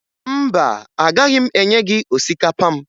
Mba, agaghị m enye gị osikapa m